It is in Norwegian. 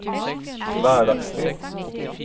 hverdagsliv